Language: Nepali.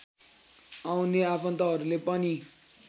आउने आफन्तहरूले पनि